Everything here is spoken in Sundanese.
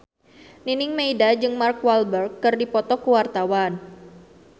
Nining Meida jeung Mark Walberg keur dipoto ku wartawan